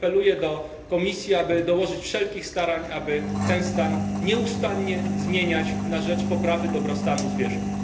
Apeluję do Komisji, aby dołożyć wszelkich starań, by ten stan nieustannie zmieniać na rzecz poprawy dobrostanu zwierząt.